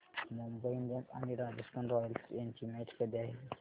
Mumbai Indians आणि Rajasthan Royals यांची match कधी आहे